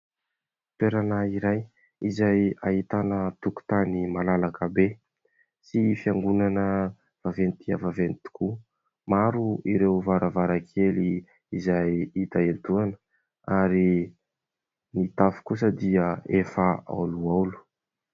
Toerana iray izay ahitana tokotany malalaka be sy fiangonana vaventy dia vaveny tokoa. Maro ireo varavarankely izay hita etoana, ary ny tafy kosa dia efa aolo aolo.